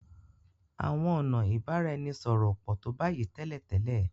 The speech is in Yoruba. Àwọn ọnà ibaraẹnisọrọ o pọ to bayi télètélè.